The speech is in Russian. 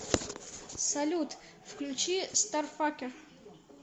салют включи старфакер